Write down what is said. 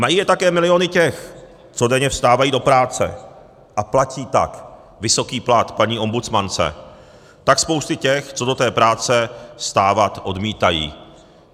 Mají je také miliony těch, co denně vstávají do práce a platí tak vysoký plat paní ombudsmance, tak spousty těch, co do té práce vstávat odmítají.